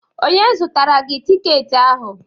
Onye zụtara gị tiketi ahụ?